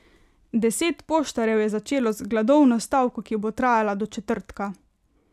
Deset poštarjev je začelo z gladovno stavko, ki bo trajala do četrtka.